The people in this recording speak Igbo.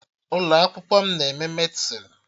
Ụlọ akwụkwọ m na-eme Medịsịn